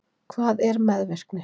hvað er meðvirkni